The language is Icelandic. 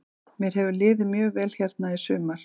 Mér hefur liðið mjög vel hérna í sumar.